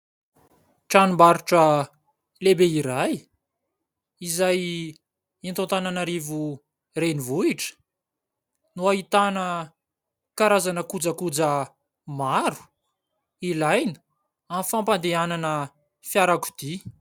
Tranombarotra lehibe iray izay eto Antananarivo renivohitra, no ahitana karazana kojakoja maro ilaina amin'ny fampandehanana fiarakodia.